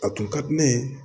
A tun ka di ne ye